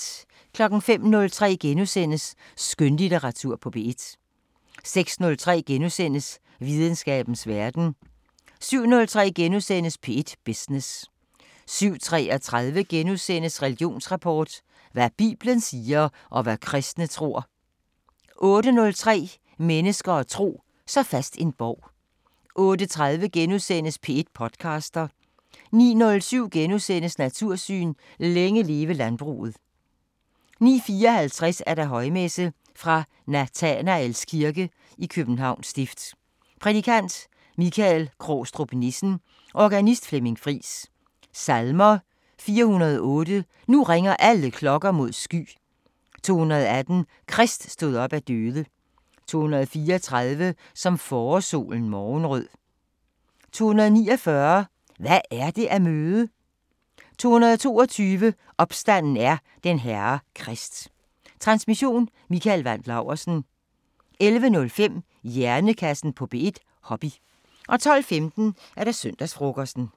05:03: Skønlitteratur på P1 * 06:03: Videnskabens Verden * 07:03: P1 Business * 07:33: Religionsrapport: Hvad bibelen siger, og hvad kristne tror... * 08:03: Mennesker og tro: Så fast en borg 08:30: P1 podcaster * 09:07: Natursyn: Længe leve landbruget * 09:54: Højmesse - Fra Nathanaels Kirke, Københavns Stift. Prædikant: Michael Krogstrup Nissen. Organist: Flemming Friis. Salmer: 408: Nu ringer alle klokker mod sky. 218: Krist stod op af døde. 234: Som forårssolen morgenrød. 249: Hvad er det at møde. 222: Opstanden er den Herre Krist. Transmission: Mikael Wandt Laursen. 11:05: Hjernekassen på P1: Hobby 12:15: Søndagsfrokosten